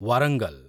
Warangal